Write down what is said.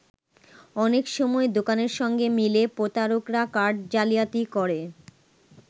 অনেক সময় দোকানের সঙ্গে মিলে প্রতারকরা কার্ড জালিয়াতি করে।